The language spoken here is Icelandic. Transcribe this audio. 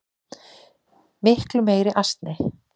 Miklu meiri asni.